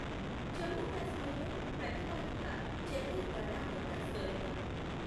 జమ్మూ కాశ్మీర్లో ప్రతిపాదిత ఛథేర్గాలా వద్ద సొరంగం.